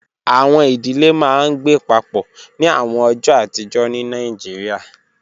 Awọn idile maa n gbe papọ ni awọn ọjọ atijọ ni Nigeria